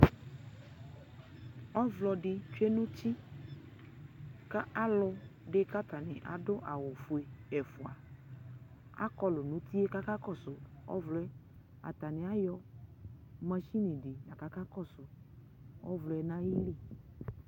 ɔvlɔ di tsue nu uti ku alu di ku atani adu awu ɔfue ɛfua akɔlɔ nu uti yɛ ku aka kɔsu ɔvlɔ yɛ atani ayɔ masini di aku akakɔsu ɔvlɔ yɛ nu ayili